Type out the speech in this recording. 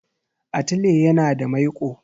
Atile yana da maiƙo.